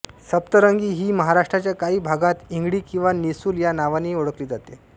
सप्तरंगी ही महाराष्ट्राच्या काही भागांत इंगळी किंवा निसूल या नावानेही ओळखली जाते